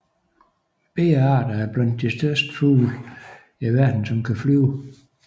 Begge arter er blandt de største fugle i verden som kan flyve